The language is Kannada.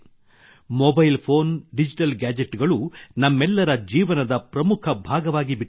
ಮೊಬೈಲ್ ಫೋನ್ ಡಿಜಿಟಲ್ ಗ್ಯಾಜೆಟ್ ಗಳು ನಮ್ಮೆಲ್ಲರ ಜೀವನದ ಪ್ರಮುಖ ಭಾಗವಾಗಿ ಬಿಟ್ಟಿವೆ